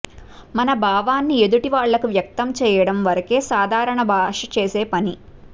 మన భావాన్ని ఎదుటివాళ్ళకి వ్యక్తం చెయ్యడం వరకే సాధారణ భాష చేసే పని